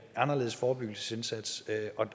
anderledes forebyggelsesindsats